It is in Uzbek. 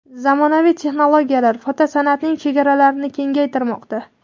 Zamonaviy texnologiyalar fotosan’atning chegaralarini kengaytirmoqda.